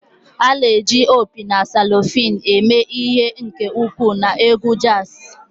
A na-eji opi na saxophone eme ihe nke ukwuu na egwu jazz